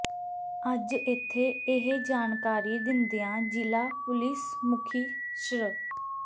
ਅੱਜ ਇੱਥੇ ਇਹ ਜਾਣਕਾਰੀ ਦਿੰਦਿਆਂ ਜ਼ਿਲ੍ਹਾ ਪੁਲੀਸ ਮੁਖੀ ਸ੍ਰ